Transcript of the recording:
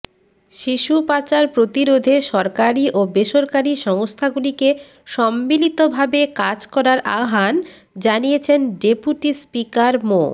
শিশু পাচার প্রতিরোধে সরকারি ও বেসরকারি সংস্থাগুলোকে সম্মিলিতভাবে কাজ করার আহ্বান জানিয়েছেন ডেপুটি স্পিকার মো